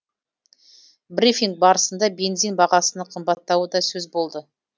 брифинг барысында бензин бағасының қымбаттауы да сөз болды